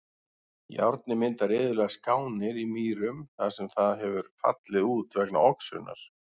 Járnið myndar iðulega skánir í mýrum þar sem það hefur fallið út vegna oxunar.